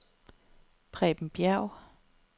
Preben Bjerg